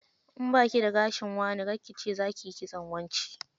In baki da gashin wane, kar ki ce zakiyi kitson wance.